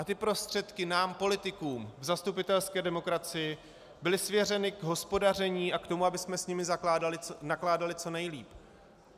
A tyto prostředky nám politikům v zastupitelské demokracii byly svěřeny k hospodaření a k tomu, abychom s nimi nakládali co nejlíp.